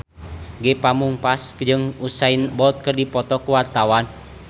Ge Pamungkas jeung Usain Bolt keur dipoto ku wartawan